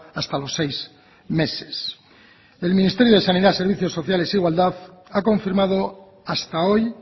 hasta los seis meses el ministerio de sanidad servicios sociales e igualdad ha confirmado hasta hoy